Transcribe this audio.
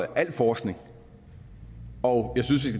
al forskning og